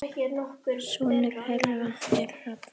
Sonur þeirra er Hrafn.